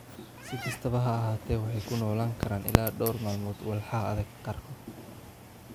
Si kastaba ha ahaatee, waxay ku noolaan karaan ilaa dhowr maalmood walxaha adag qaarkood.